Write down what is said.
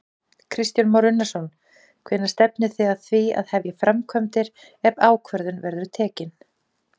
Kristján Már Unnarsson: Hvenær stefnið þið að því að hefja framkvæmdir ef ákvörðun verður tekin?